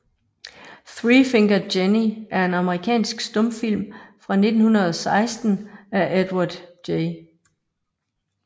Three Fingered Jenny er en amerikansk stumfilm fra 1916 af Edward J